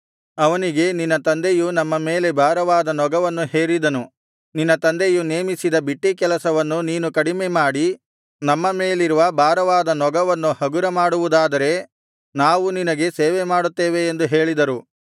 ಅವನಿಗೆ ನಿನ್ನ ತಂದೆಯು ನಮ್ಮ ಮೇಲೆ ಭಾರವಾದ ನೊಗವನ್ನು ಹೇರಿದನು ನಿನ್ನ ತಂದೆಯು ನೇಮಿಸಿದ ಬಿಟ್ಟೀಕೆಲಸವನ್ನು ನೀನು ಕಡಿಮೆ ಮಾಡಿ ನಮ್ಮ ಮೇಲಿರುವ ಭಾರವಾದ ನೊಗವನ್ನು ಹಗುರ ಮಾಡುವುದಾದರೆ ನಾವು ನಿನಗೆ ಸೇವೆಮಾಡುತ್ತೇವೆ ಎಂದು ಹೇಳಿದರು